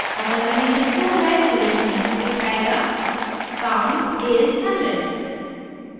अगर condition true है तो यह message दिखायेगा count is 100